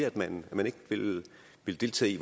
at man ikke vil deltage i